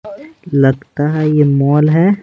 लगता है यह मोल है।